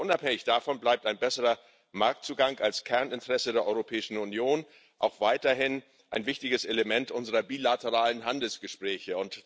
Aber unabhängig davon bleibt ein besserer Marktzugang als Kerninteresse der Europäischen Union auch weiterhin ein wichtiges Element unserer bilateralen Handelsgespräche.